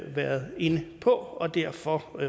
været inde på derfor